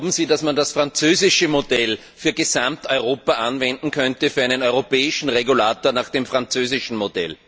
Glauben Sie, dass man das französische Modell für Gesamteuropa anwenden könnte, mit einem europäischen Regulator nach französischem Vorbild?